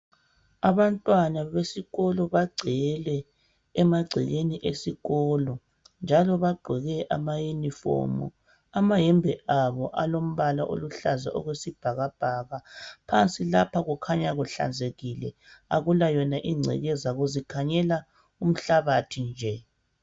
Abantwana besikolo bagcwele emagcekeni esikolo . Njalo bagqoke amayunifomu. Amahembe abo alombala oluhlaza okwesibhakabhaka. Phansi lapha kukhanya kuhlanzekile akula yona ingcekeza kuzikhanyela umhlabathi nje.